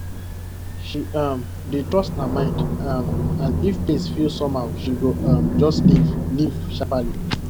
she um dey trust her mind um and if place feel somehow she go um just leave leave sharply